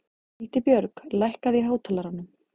Hildibjörg, lækkaðu í hátalaranum.